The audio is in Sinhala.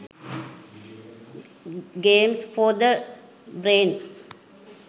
games for the brain